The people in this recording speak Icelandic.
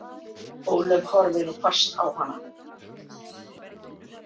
Ólöf horfði nú fast á hana.